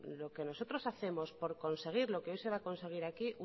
lo que nosotros hacemos por conseguir lo que hoy se va a conseguir aquí